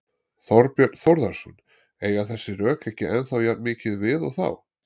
Þorbjörn Þórðarson: Eiga þessi rök ekki ennþá jafn mikið við og þá?